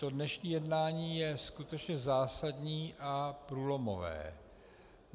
To dnešní jednání je skutečně zásadní a průlomové.